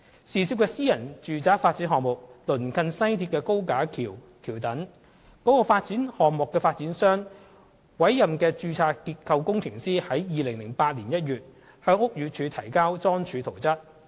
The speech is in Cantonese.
涉事的私人住宅發展項目鄰近西鐵高架橋橋躉，所以，該發展項目的發展商委任的註冊結構工程師於2008年1月向屋宇署提交樁柱圖則。